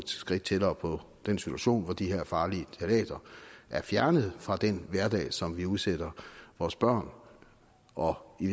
skridt tættere på den situation hvor de her farlige ftalater er fjernet fra den hverdag som vi udsætter vores børn og i